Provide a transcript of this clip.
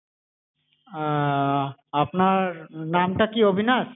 আহ আপনার নাম টা কি অবিনাশ?